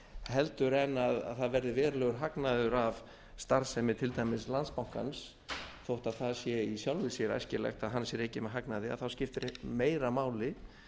heldur en það verði verulegur hagnaður af starfsemi til dæmis landsbankans þótt það sé í sjálfu sér æskilegt að hann sé rekinn með hagnaði þá skiptir meira máli